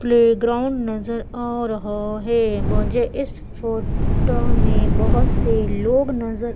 playground नजर आ रहा है मुझे इस फोटो में बहोत से लोग नजर--